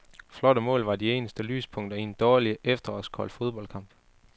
Flotte mål var de eneste lyspunkter i en dårlig, efterårskold fodboldkamp.